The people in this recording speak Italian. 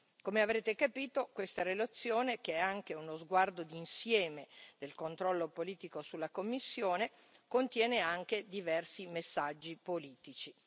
Come avrete capito, questa relazione, che è anche uno sguardo di insieme del controllo politico sulla Commissione, contiene anche diversi messaggi politici.